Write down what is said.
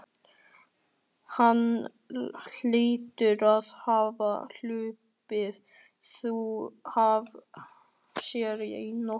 Hann hlýtur að hafa hlaupið þau af sér í nótt.